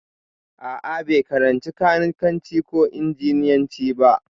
A'a, bai karanci kanikanci ko injiniyanci ba.